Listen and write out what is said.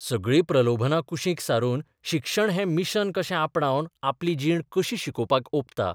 सगळीं प्रलोभनां कुशीक सारून शिक्षण हें मिशन कशें आपणावन आपली जीण कशी शिकोवपाक ओंपता.